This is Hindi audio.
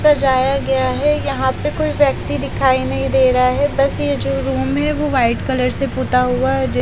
सजाया गया है यहाँ पे कोई व्यक्ति दिखाई नहीं दे रहा है बस ये जो रूम है वो वाइट कलर से पुता हुआ है --